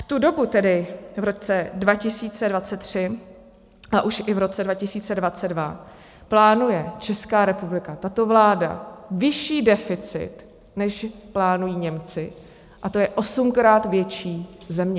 V tu dobu, tedy v roce 2023, a už i v roce 2022, plánuje Česká republika, tato vláda, vyšší deficit, než plánují Němci, a to je osmkrát větší země.